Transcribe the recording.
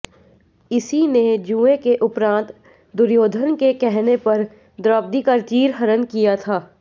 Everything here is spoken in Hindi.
इसी ने जुए के उपरांत दुर्योधन के कहने पर द्रौपदी का चीर हरण किया था